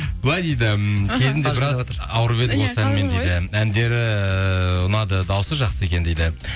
былай дейді кезінде біраз ауырып едік осы әнмен дейді әндері ұнады дауысы жақсы екен дейді